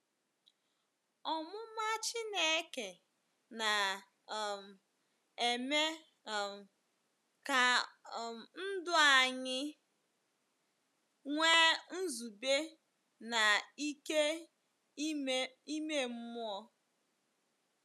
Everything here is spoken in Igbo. Ọmụma Chineke na - um eme um ka um ndụ anyị nwee nzube na ike ime mmụọ.